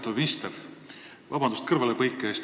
Lugupeetav minister, vabandust kõrvalepõike eest!